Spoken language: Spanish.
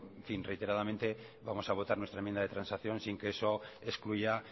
reiteradamente vamos a votar nuestra enmienda de transacción sin que eso excluya